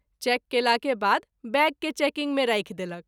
Cheque कएला के बाद बैग के चेकिंग मे राखि देलक।